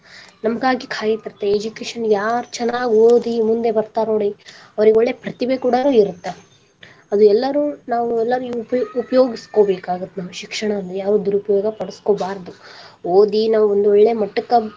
ನಮಗಾಗಿ ಕಾಯತಿರತ್ತ education ಯಾರ ಚನ್ನಾಗಿ ಓದಿ ಮುಂದೆ ಬರ್ತಾರಾ ನೋಡಿ ಅವ್ರಿಗೇ ಒಳ್ಳೆ ಪ್ರತಿಭೆ ಕೂಡ ಇರತ್ತ ಅದು ಎಲ್ಲರು ನಾವು ಉಪಯೋಗಿಸ್ಕೊಬೇಕಾಗತ್ತ ನಾವ ಶಿಕ್ಷಣನ್ನ ಯಾವ ದುರುಪಯೋಗ ಪಡಸ್ಕೊಬಾರದ ಓದಿ ನಾವ ಒಂದ ಒಳ್ಳೆ ಮಟ್ಟಕ್ಕ.